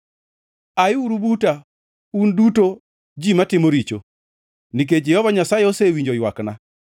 Ayiuru buta, un duto ji matimo richo, nikech Jehova Nyasaye osewinjo ywakna.